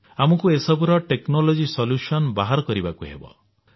ଆମକୁ ଏହିସବୁର technology solution ବା ପ୍ରଯୁକ୍ତିଗତ ସମାଧାନ ବାହାର କରିବାକୁ ହେବ